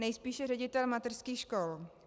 Nejspíše ředitel mateřských škol.